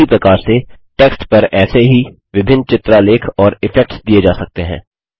उसी प्रकार से टेक्स्ट पर ऐसे ही विभिन्न चित्रालेख और इफेक्ट्स दिये जा सकते हैं